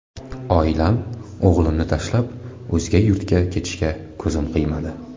Oilam, o‘g‘limni tashlab, o‘zga yurtga ketishga ko‘zim qiymadi.